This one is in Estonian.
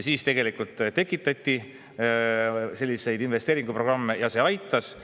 Siis tegelikult tekitati selliseid investeeringuprogramme ja see aitas.